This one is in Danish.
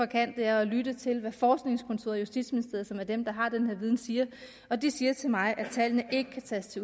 kan er at lytte til hvad forskningskontoret i justitsministeriet som er dem der har den her viden siger og de siger til mig at tallene ikke kan tages